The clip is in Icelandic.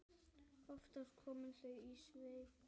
Oftast komu þau í svefni.